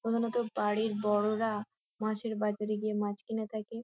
প্রধানত বাড়ির বড়োরা মাছের বাজারে গিয়ে মাছ কিনে থাকে।